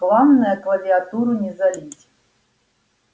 главное клавиатуру не залить